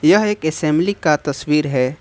यह एक असेंबली का तस्वीर है।